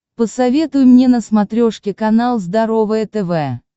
посоветуй мне на смотрешке канал здоровое тв